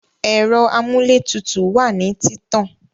Ẹ̀rọ amúlétutù wá nìí títàn